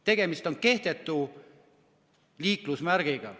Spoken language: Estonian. Tegemist on kehtetu liiklusmärgiga.